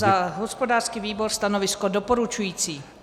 Za hospodářský výbor stanovisko doporučující.